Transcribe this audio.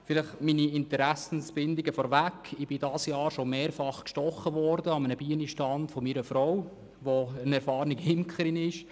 Vielleicht meine Interessensbindung vorneweg: Ich bin dieses Jahr schon mehrfach am Bienenstand meiner Frau gestochen worden, die eine erfahrene Imkerin ist.